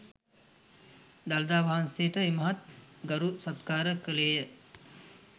දළදා වහන්සේට ඉමහත් ගරු සත්කාර කළේ ය.